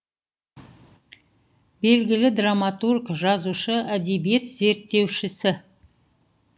белгілі драматург жазушы әдебиет зерттеушісі